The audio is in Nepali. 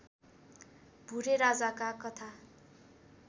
भुरे राजाका कथा